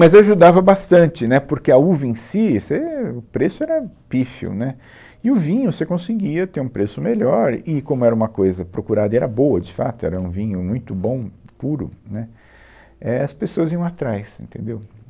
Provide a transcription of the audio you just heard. Mas ajudava bastante, né, porque a uva em si, se, o preço era pífio, né, e o vinho você conseguia ter um preço melhor, e como era uma coisa procurada e era boa de fato, era um vinho muito bom, puro, né, éh, as pessoas iam atrás, entendeu?